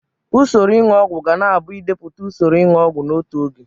Usoro ịṅụ ọgwụ ga na abụ idepụta usoro inu ogwu n'otu oge.